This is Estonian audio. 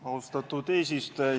Austatud eesistuja!